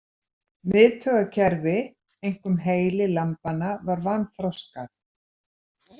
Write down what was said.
Miðtaugakerfi, einkum heili lambanna var vanþroskað.